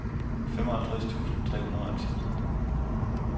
femoghalvtreds tusind tre hundrede og ti